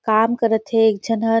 काम करथ हे एक झन ह।